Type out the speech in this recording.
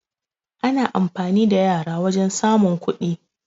Ana amfani da yara wajan samun kuɗi